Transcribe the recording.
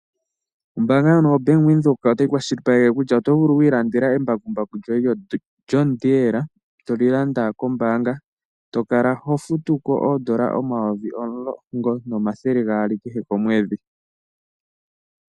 Ombanga ndjono yoBank Windhoek otayi kwashilipaleke kutya oto vulu wi ilandela embakumbaku lyo John del toli landa kombanga. To kala ho futu ko odollar omayovi omulongo omathele gaali kehe komwedhi.